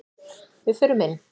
Við förum inn!